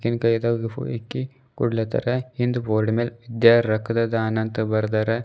ಇಕ್ಕಿ ಕೊಡ್ಲಿಹತ್ತಾರ ಹಿಂದ್ ಬೋರ್ಡಿನ್ ಮ್ಯಾಲ್ ವಿದ್ಯಾ ರಕ್ತದಾನ ಅಂತ ಬರ್ದಾರ.